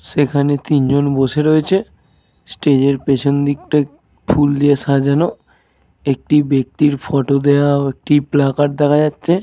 সেখানে তিনজন বসে রয়েছে। স্টেজের পেছন দিকটা ফুল দিয়ে সাজানো। একটি ব্যক্তির ফটো দেওয়া ও একটি প্ল্যাকার্ড দেখা যাচ্ছে।